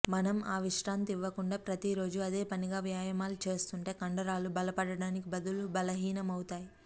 మనం ఆ విశ్రాంతి ఇవ్వకుండా ప్రతిరోజూ అదేపనిగా వ్యాయామాలు చేస్తుంటే కండరాలు బలపడటానికి బదులు బలహీనమవుతాయి